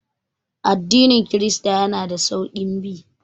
Addinin kirista yana da sauƙin bi